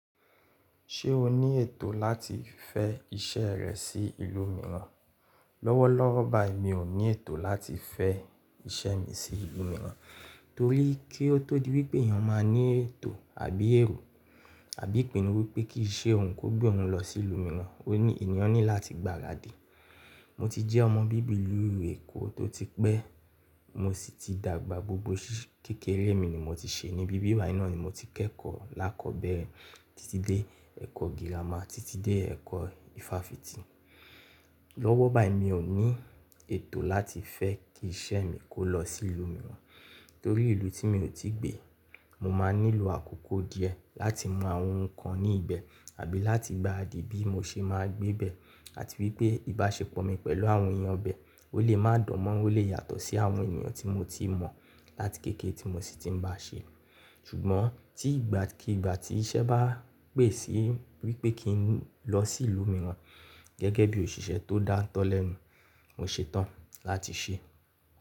Ṣé o ní ètò láti fẹ iṣẹ́ rẹ sí ìlú mìíràn? Lọ́wọ́lọ́wọ́ báyìí mi ò ní ètò láti fẹ iṣẹ́ mi sí ìlú mìíràn torí kí ó tó di wípé èèyàn máa ní ètò àbí èrò, àbí ìpinnu wípé kí iṣẹ́ òun kó gbé òun lọ sí ìlú mìíràn, òní èèyàn ní láti gbaradi. Mo ti jẹ́ ọmọ bíbilù Èkó tó ti pẹ́, mo sì ti dàgbà, gbogbo ṣíṣe kékeré mi ni mo ti ṣe ní bíbibayi, naá ni mo ti kẹ́kọ̀ọ́ lákọ̀bẹ́rẹ̀ títí dé ẹ̀kọ́ girama, títí dé ẹ̀kọ́ ifáfitì. Lọ́wọ́ báyìí mi ò ní ètò láti fẹ́ kí iṣẹ́ mi kó lọ sí ìlú mìíràn torí ìlú tí mi ò tí gbe, mo máa nílò àkókò díẹ̀ láti mọ àwọn nǹkan ní ibẹ̀ àbí láti gbaràdì bí mo ṣe máa gbé bẹ́ẹ̀ àti wípé ìbáṣepọ̀ mi pẹ̀lú àwọn èèyàn ibẹ̀ ó lè má dan moran, ó lè yàtọ̀ sí àwọn èèyàn tí mo ti mọ̀ láti kéékèé tí mo sì ti ń bá ṣe. Ṣùgbọ́n tí ìgbàkígbà tí iṣẹ́ bá pè sí wípé kí n lọ sí ìlú mìíràn gẹ́gẹ́ bí òṣìṣẹ́ tó dáńtọ́ lẹ́nu, mo ṣetán láti ṣe é.